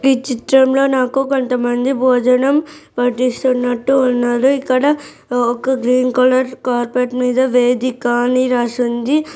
ఈ చిత్రంలో నాకు కొంతమంది భోజనం వడ్డిస్తున్నట్టు ఉన్నరు ఇక్కడ ఒక గ్రీన్ కలర్ కార్పెట్ మీద వేదిక అని రాసి ఉంది.